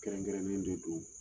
Kɛrɛnkɛrɛnnen dɔ don